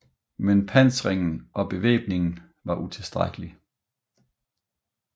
Men pansringen og bevæbningen var utilstrækkelig